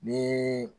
Ni